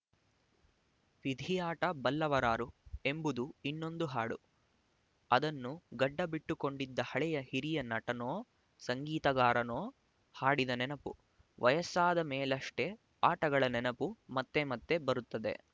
ವಿಧಿಯಾಟ ಬಲ್ಲವರಾರು ಎಂಬುದು ಇನ್ನೊಂದು ಹಾಡು ಅದನ್ನು ಗಡ್ಡ ಬಿಟ್ಟುಕೊಂಡಿದ್ದ ಹಳೆಯ ಹಿರಿಯ ನಟನೋ ಸಂಗೀತಗಾರನೋ ಹಾಡಿದ ನೆನಪು ವಯಸ್ಸಾದ ಮೇಲಷ್ಟೇ ಆಟಗಳ ನೆನಪು ಮತ್ತೆ ಮತ್ತೆ ಬರುತ್ತದೆ